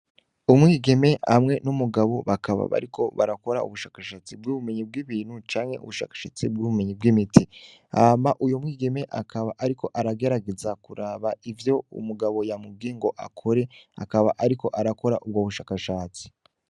Umwigeme hamwe n'umugabo bakaba bariko barakora ubushakashatsi bw'ubumenyi bw'ibintu canke ubushakashatsi bw'ubumenyi bw'imiti. Hama uwo mwigeme akaba ariko agerageza kuraba ivyo umugabo yamubwiye ngo akore akaba ariko arakora ubwo bushakashatsi.